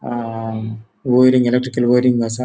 अ wiring electrical wiring आसा.